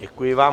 Děkuji vám.